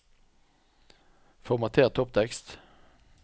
Formater topptekst